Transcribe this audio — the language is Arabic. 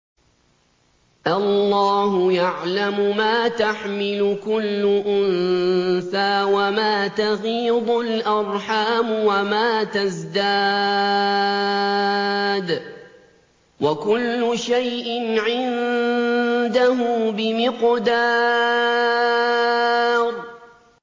اللَّهُ يَعْلَمُ مَا تَحْمِلُ كُلُّ أُنثَىٰ وَمَا تَغِيضُ الْأَرْحَامُ وَمَا تَزْدَادُ ۖ وَكُلُّ شَيْءٍ عِندَهُ بِمِقْدَارٍ